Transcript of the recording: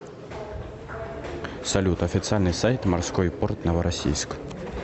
салют официальный сайт морской порт новороссийск